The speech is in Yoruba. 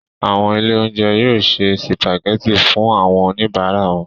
Àwọn ilé-oúnjẹ yóò se sìpàgẹ́tì fún àwọn oníbàárà wọn.